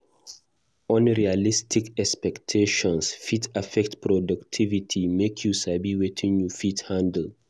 Unrealistic expectations fit affect productivity; make you sabi wetin you fit handle.